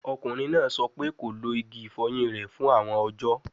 Ọkunrin naa sọ pe ko lo igi ifoyin rẹ fun awọn ọjọ